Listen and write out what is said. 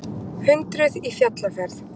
Hundruð í fjallaferð